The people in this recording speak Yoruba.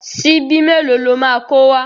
Ṣíbí mélòó lo máa kó wá?